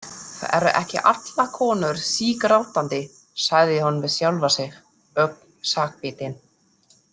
Það eru ekki allar konur sígrátandi, sagði hún við sjálfa sig, ögn sakbitin.